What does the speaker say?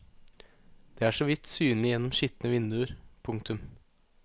De er så vidt synlige gjennom skitne vinduer. punktum